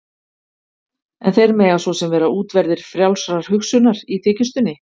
En þeir mega svo sem vera útverðir frjálsrar hugsunar- í þykjustunni.